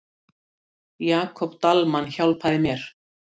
Jakob Dalmann hjálpaði mér.